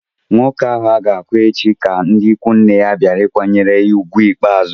Nwoke ahụ a ga-akwa echi ka ndị ikwu nne ya bịara ịkwanyere ugwu ikpeazụ